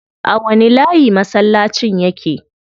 A wani layi masallacin yake?